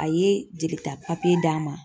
A ye jelita d'an ma.